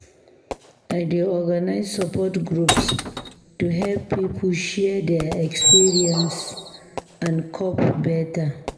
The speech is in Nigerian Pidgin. I dey organize support groups to help pipo share their experiences and cope beta.